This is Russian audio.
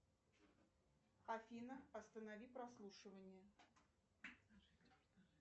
афина останови прослушивание